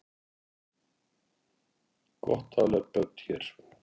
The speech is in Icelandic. Gott að ala upp börn hér